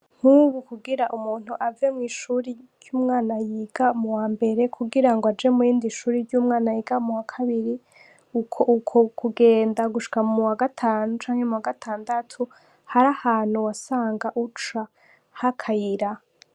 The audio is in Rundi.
Nk'ubu kugira umuntu ave mw'ishuri ry'umwana yiga mu wa mbere kugira aje muyindi shuri ry'umwana yiga mu wa kabiri, uko uko kugenda gushika mu wa gatanu canke mu wa gatandatu, har'ahantu wasanga uca h'akayira.